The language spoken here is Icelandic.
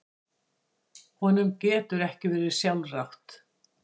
Honum getur ekki verið sjálfrátt.